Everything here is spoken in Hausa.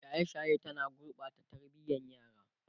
shaye shaye ta na gurɓata tarbiyan yara